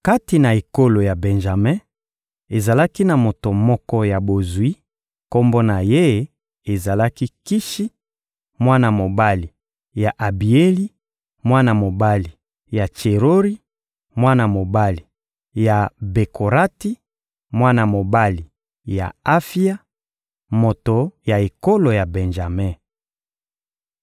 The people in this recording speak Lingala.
Kati na ekolo ya Benjame, ezalaki na moto moko ya bozwi; kombo na ye ezalaki «Kishi,» mwana mobali ya Abieli, mwana mobali ya Tserori, mwana mobali ya Bekorati, mwana mobali ya Afia, moto ya ekolo ya Benjame.